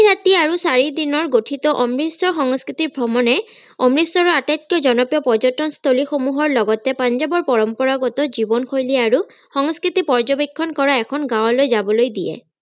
তিনি ৰাতি আৰু চাৰিদিনৰ গঠিত অমৃতসৰ সংস্কৃতিক ভ্ৰমণে অমৃতসৰৰ আটাইতকৈ জনপ্ৰিয় পৰ্যতনস্থলীসমূহৰ লগতে পঞ্জাৱৰ পৰম্পৰাগত জীৱনশৈলী আৰু সংস্কৃতি পৰ্যবেক্ষণ কৰা এখন গাৱলৈ যাবলৈ দিয়ে